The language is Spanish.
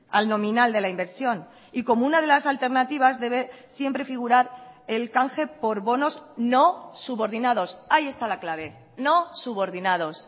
al nominal de la inversión y como una de las alternativas debe siempre figurar el canje por bonos no subordinados ahí está la clave no subordinados